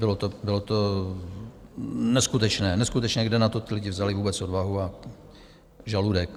Bylo to neskutečné, neskutečné, kde na to ti lidé vzali vůbec odvahu a žaludek.